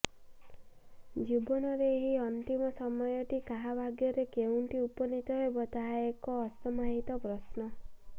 ଜୀବନର ଏହି ଅନ୍ତିମ ସମୟଟି କାହା ଭାଗ୍ୟରେ କେଉଁଠି ଉପନୀତ ହେବ ତାହା ଏକ ଅସମାହିତ ପ୍ରଶ୍ନ